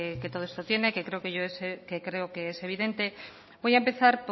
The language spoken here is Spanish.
que todo esto tiene que creo que es evidente voy a empezar